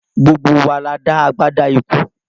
Gbogbo wa la dá agbádá ikú